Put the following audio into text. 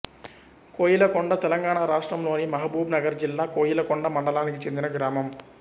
కోయిలకొండ తెలంగాణ రాష్ట్రంలోని మహబూబ్ నగర్ జిల్లా కోయిలకొండ మండలానికి చెందిన గ్రామం